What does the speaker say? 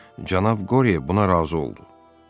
Cənab Qorye buna razı oldu.